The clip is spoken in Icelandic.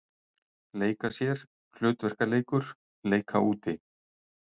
Leika sér- hlutverkaleikur- leika úti